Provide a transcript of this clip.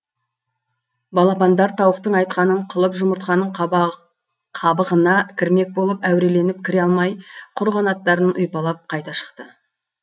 балапандар тауықтың айтқанын қылып жұмыртқаның қабығына кірмек болып әуреленіп кіре алмай құр қанаттарын ұйпалап қайта шықты